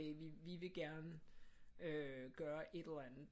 Vi vil gerne øh gøre et eller andet